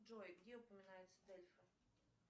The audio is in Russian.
джой где упоминается дельфа